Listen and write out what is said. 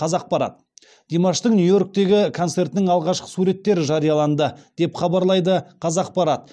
қазақпарат димаштың нью йорктегі концертінің алғашқы суреттері жарияланды деп хабарлайды қазақпарат